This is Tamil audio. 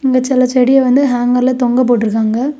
இந்த செலச் செடி வந்து ஹேங்கர்லெ தொங்க போட்டிருக்காங்க.